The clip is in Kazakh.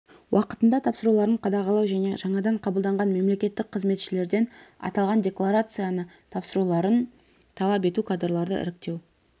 уақытында тапсыруларын қадағалау және жаңадан қабылданған мемлекеттік қызметшілерден аталған декларацияны тапсыруларын талап ету кадрларды іріктеу